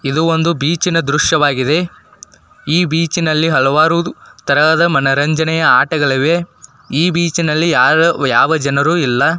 ಇದು ಒಂದು ಬೀಚ್ನ ದೃಶವಾಗಿದೆ ಈ ಬೀಚ್ನಲ್ಲಿ ಹಲವಾರು ತರಹದ ಮನರಂಜನೆಯ ಆಟಗಳಿವೆ ಈ ಬೀಚ್ನಲ್ಲಿ ಯಾವ ಜನರು ಇಲ್ಲ.